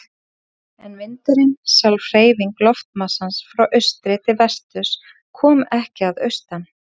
En vindurinn, sjálf hreyfing loftmassans frá austri til vesturs, kom ekki að austan.